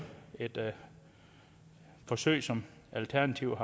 et forsøg som alternativet